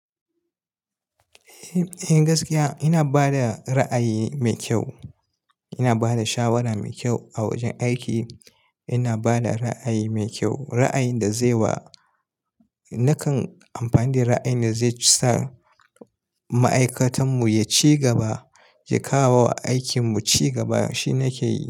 Eh, gaskiya ina ba da ra'ayi mai kyau. Ina ba da shawara mai kyau a wajen aiki. Ina ba da ra'ayi mai kyau, ra'ayin da zai wa, nakan amfani da ra'ayi da zai sa ma'aikatanmu ya ci gaba, ya kawo aikinmu ci gaba shine nake yi.